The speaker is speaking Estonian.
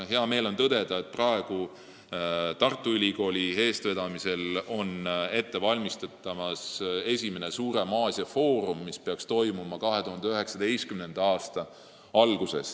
Hea meel on tõdeda, et praegu valmistatakse Tartu Ülikooli eestvedamisel ette esimest suuremat Aasia-foorumit, mis peaks toimuma 2019. aasta alguses.